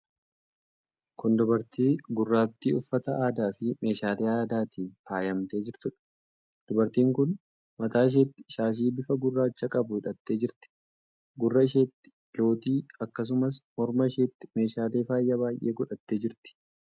Kun dubartii gurraattii uffata aadaa fi meeshaalee aadaatiin faayamtee jirtuudha. Dubartiin kun mataa isheetti shaashii bifa gurraacha qabu hidhattee jirti. Gurra isheetti lootii, akkasumas morma isheetti meeshaalee faayaa baay'ee godhattee jirti.